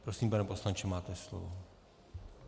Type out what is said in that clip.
Prosím, pane poslanče, máte slovo.